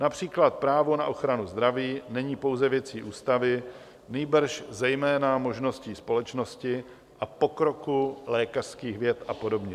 Například právo na ochranu zdraví není pouze věcí ústavy, nýbrž zejména možností společnosti a pokroku lékařských věd a podobně.